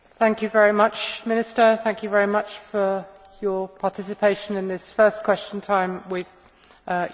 Minister, thank you very much for your participation in this first Question Time with your Presidency.